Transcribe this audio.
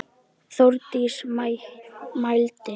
Þórdís mælti: